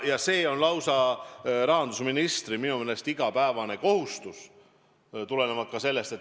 Ja see on minu meelest rahandusministri lausa igapäevane kohustus.